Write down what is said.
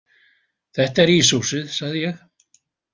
Þetta er íshúsið, sagði ég.